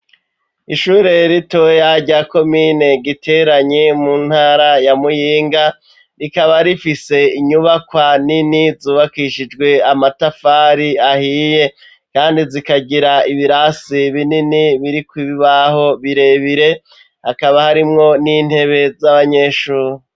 Ishure ritoya rya komine giteranyi mu ntara ya muyinga rikaba rifise inyubakwa nini zubakishijwe amatafari ahiye kandi zikagira ibirasi binini biri kubibaho birebire akaba harimwo n'intebe z'abanyeshuri.